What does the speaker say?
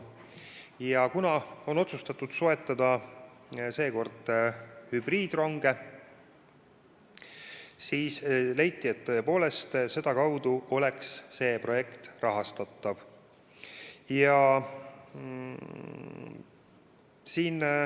Ja kuna on otsustatud soetada seekord hübriidronge, siis leiti, et tõepoolest sedakaudu oleks see projekt rahastatav.